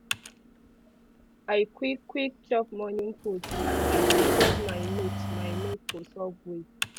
i quick quick chop morning food as i dey check my notes my notes for subway